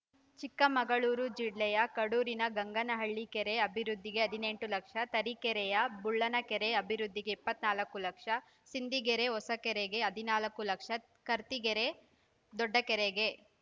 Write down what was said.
ಚಿಕ್ಕಮಗಳೂರು ಜಿಲ್ಲೆಯ ಕಡೂರಿನ ಗಂಗನಹಳ್ಳಿ ಕೆರೆ ಅಭಿವೃದ್ಧಿಗೆ ಹದಿನೆಂಟು ಲಕ್ಷ ತರೀಕೆರೆಯ ಬುಳ್ಳನಕೆರೆ ಅಭಿವೃದ್ಧಿಗೆ ಇಪ್ಪತ್ತ್ ನಾಲ್ಕು ಲಕ್ಷ ಸಿಂದಿಗೆರೆ ಹೊಸಕೆರೆಗೆ ಹದಿನಾಲ್ಕು ಲಕ್ಷ ಕರ್ತಿಕೆರೆ ದೊಡ್ಡಕೆರೆಗೆ